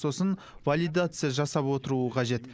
сосын валидация жасап отыруы қажет